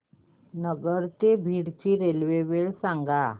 नगर ते बीड ची रेल्वे वेळ सांगा